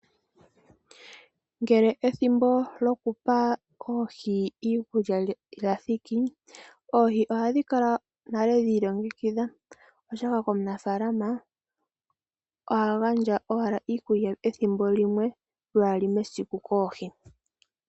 Ngele ethimbo lyoku pa oohi iikulya lya thiki, oohi ohadhi kala nale dhi ilongekidha, oshoka omunafaalama oha gandja owala iikulya ye ethimbo limwe, lwali mesiku koohi.